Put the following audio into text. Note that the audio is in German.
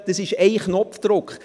Das ist ein Knopfdruck.